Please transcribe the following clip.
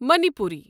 Manipuri